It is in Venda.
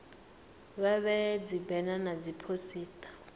vha vhee dzibena na dziphosita